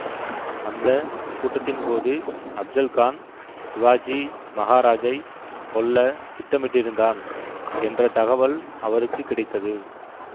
அந்த கூட்டத்தின் போது அப்ஜல்கான் சிவாஜி மகாராஜைக் கொல்ல திட்டமிட்டிருந்தான் என்ற தகவல் அவருக்கு கிடைத்தது